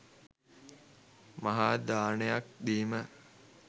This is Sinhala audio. මහාදානයක් දීම